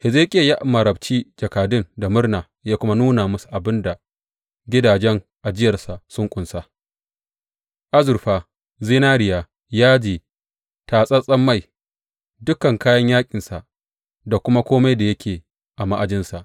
Hezekiya ya marabci jakadun da murna ya kuma nuna musu abin da gidajen ajiyarsa sun ƙunsa, azurfa, zinariya, yaji, tatsatsen mai, dukan kayan yaƙinsa da kuma kome da yake a ma’ajinsa.